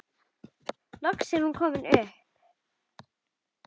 Loks er hún komin upp.